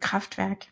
kraftværk